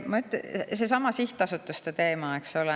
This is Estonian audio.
Seesama sihtasutuste teema, eks ole.